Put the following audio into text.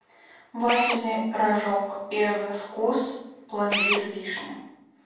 вафельный рожок первый вкус пломбир вишня